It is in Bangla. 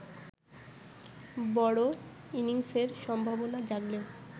বড় ইনিংসের সম্ভাবনা জাগলেও